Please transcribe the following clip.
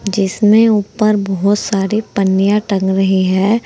जिसमें ऊपर बोहोत सारी पन्नियां टंग रही हैं।